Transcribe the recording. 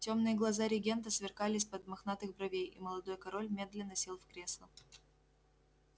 тёмные глаза регента сверкали из-под мохнатых бровей и молодой король медленно сел в кресло